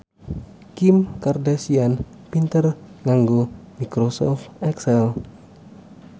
Kim Kardashian pinter nganggo microsoft excel